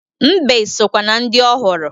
Mbe sokwa na ndị ọ hụrụ